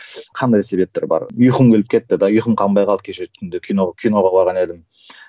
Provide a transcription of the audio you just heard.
қандай себептер бар ұйқым келіп кетті де ұйқым қанбай қалды кеше түнде кино киноға барған едім